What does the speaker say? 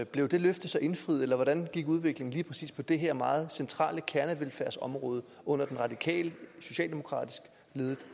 blev det løfte så indfriet eller hvordan gik udviklingen lige præcis på det her meget centrale kernevelfærdsområde under den radikal socialdemokratisk ledede